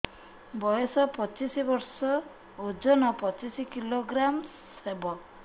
ବୟସ ପଚିଶ ବର୍ଷ ଓଜନ ପଚିଶ କିଲୋଗ୍ରାମସ ହବ